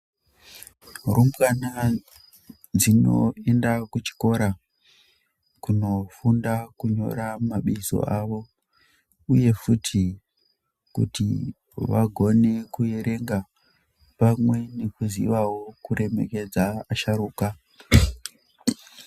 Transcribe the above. Rumbwana dzinoenda kuchikora kunofunda kunyora mabiso avo uye futi kuti vagone kuverenga pamwe nekuziye kuremekedza asharuka